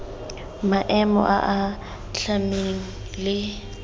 maemo a a atlhameng le